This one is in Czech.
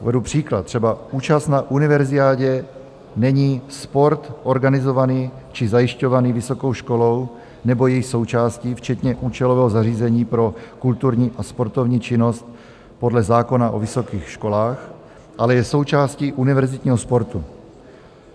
Uvedu příklad, třeba účast na Univerziádě není sport organizovaný či zajišťovaný vysokou školou nebo její součástí včetně účelového zařízení pro kulturní a sportovní činnost podle zákona o vysokých školách, ale je součástí univerzitního sportu.